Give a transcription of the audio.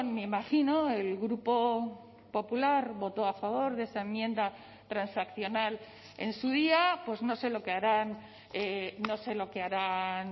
me imagino el grupo popular votó a favor de esa enmienda transaccional en su día pues no sé lo que harán no sé lo que harán